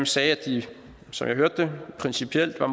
sagde at de som jeg hørte det principielt var